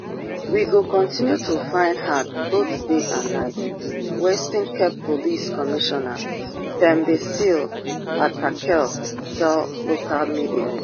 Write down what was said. we go continue to find her both day and night western cape police commissioner thembisile patekile tell local media